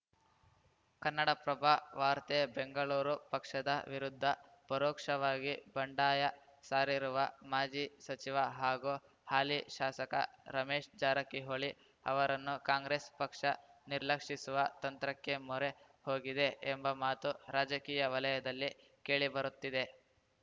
ಕನ್ನಡಪ್ರಭ ವಾರ್ತೆ ಬೆಂಗಳೂರು ಪಕ್ಷದ ವಿರುದ್ಧ ಪರೋಕ್ಷವಾಗಿ ಬಂಡಾಯ ಸಾರಿರುವ ಮಾಜಿ ಸಚಿವ ಹಾಗೂ ಹಾಲಿ ಶಾಸಕ ರಮೇಶ್‌ ಜಾರಕಿಹೊಳಿ ಅವರನ್ನು ಕಾಂಗ್ರೆಸ್‌ ಪಕ್ಷ ನಿರ್ಲಕ್ಷಿಸುವ ತಂತ್ರಕ್ಕೆ ಮೊರೆ ಹೋಗಿದೆ ಎಂಬ ಮಾತು ರಾಜಕೀಯ ವಲಯದಲ್ಲಿ ಕೇಳಿಬರುತ್ತಿದೆ